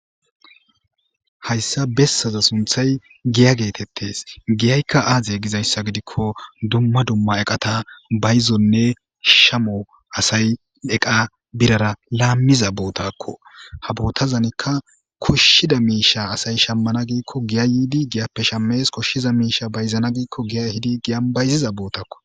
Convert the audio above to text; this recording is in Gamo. Hayssa bessaza sunthay giya geetettes giyaykka aaze gizayssa gidikko dumma dumma eqata bayzonne shamo asay eqa birara laammiza bootakko ha bootazanikka koshshida miisha asay shammana giikko giyay yiidi giyappe shames koshshiza miisha bayzana giikko giya hidi giyan bayziza bootakko